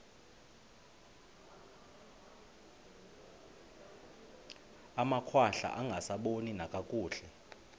amakhwahla angasaboni nakakuhle